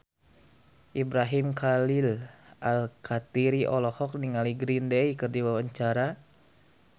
Ibrahim Khalil Alkatiri olohok ningali Green Day keur diwawancara